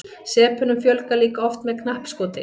sepunum fjölgar líka oft með knappskoti